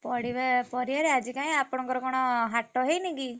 ପଡିବା ପଡିଆରେ ଆଜି କାଇଁ ଆପଣଙ୍କର କଣ ହାଟ ହେଇନି କି?